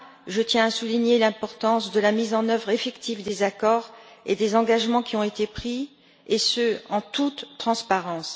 Je tiens à souligner l'importance de la mise en œuvre effective des accords et des engagements qui ont été pris et ce, en toute transparence.